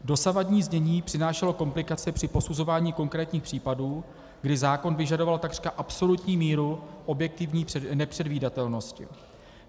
Dosavadní znění přinášelo komplikace při posuzování konkrétních případů, kdy zákon vyžadoval takřka absolutní míru objektivní nepředvídatelnosti.